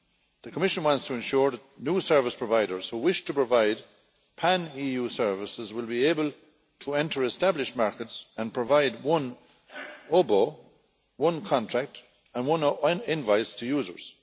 The Commission wants to ensure that new service providers who wish to provide pan EU services will be able to enter established markets and provide one OBE, one contract and one invoice to users.